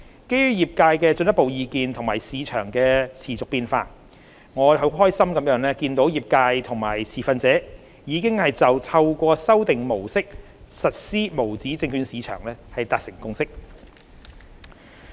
基於業界的進一步意見及市場的持續變化，我非常高興見到業界及持份者已就透過修訂模式實施無紙證券市場達成共識。